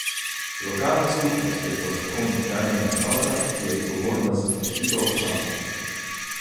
Lokalna skupnost je po zakonu temeljna enota, ki je odgovorna za zaščito občanov.